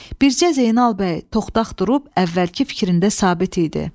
Bircə Zeynal bəy toxtaq durub, əvvəlki fikrində sabit idi.